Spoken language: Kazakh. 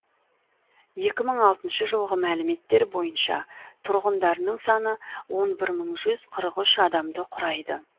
екі мың алтыншы жылғы мәліметтер бойынша тұрғындарының саны он бір мың жүз қырық үш адамды құрайды